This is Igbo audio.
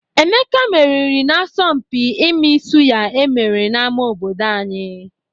Emeka meriri n'asọmpi ịmị sụya e mere n'ama obodo anyị..